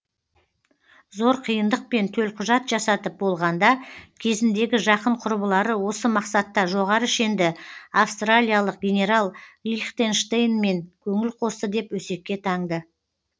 зор қиындықпен төлқұжат жасатып болғанда кезіндегі жақын құрбылары осы мақсатта жоғары шенді австралиялық генерал лихтенштейнмен көңіл қосты деп өсекке таңды